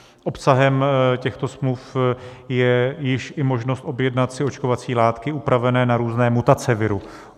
Obsahem těchto smluv je již i možnost objednat si očkovací látky upravené na různé mutace viru.